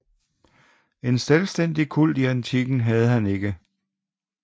En selvstændig kult i antikken havde han ikke